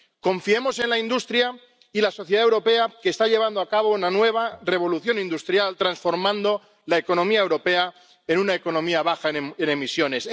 Confiemos en la industria y en la sociedad europea, que está llevando a cabo una nueva revolución industrial transformando la economía europea en una economía baja en emisiones.